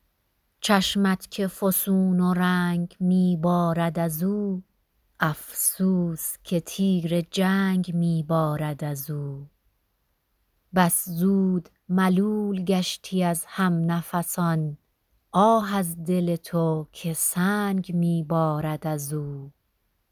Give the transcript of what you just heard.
چشمت که فسون و رنگ می بارد از او افسوس که تیر جنگ می بارد از او بس زود ملول گشتی از هم نفسان آه از دل تو که سنگ می بارد از او